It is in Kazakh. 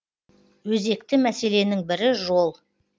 өзекті мәселенің бірі жол